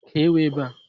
Kéé ewu ebe a!